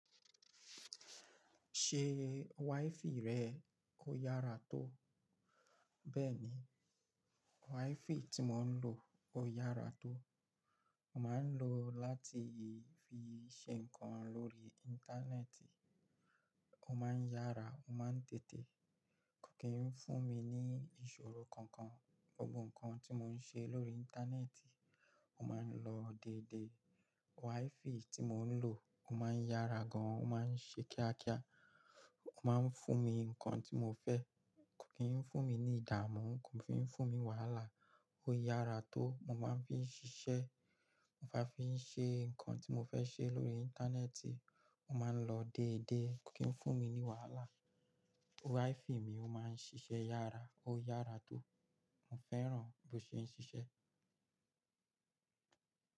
Ṣé WiFi rẹ ó yára tó? Bẹ́ẹ̀ni, WiFi tí mò ń lò ó yára tó. Mo máa ń lò ó láti fi ṣe nǹkan lórí Íńtánẹ́ẹ̀tì. Ó máa ń yára, ó máa ń tètè, kò kí ń fún mi ní ìṣòro kankan. Gbogbo nǹkan tí mò ń ṣe lórí Íńtánẹ́ẹ̀tì, ó máa ń lọ déédé. WiFi tí mò ń lò, ó máa ń yára gan, ó máa ń ṣe kíákíá, ó máa ń fún mi ní nǹkan tí mo fẹ́, kò kí ń fún mi ní ìdààmú, kò fi ń fún mi wàhálà. Ó yára tó, mo máa ń fi ń ṣiṣẹ́, mo máa fi ń ṣe nǹkan tí mo fẹ́ ṣe lórí Íńtánẹ́ẹ̀tì, ó máa ń lọ déédé, kò kí ń fún mi wàhálà. WiFi mi ó máa ń ṣiṣẹ́ yára, ó yára tó. Mo fẹ́ràn bí ó ṣe ń ṣiṣẹ́